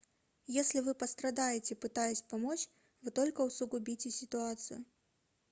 если вы пострадаете пытаясь помочь вы только усугубите ситуацию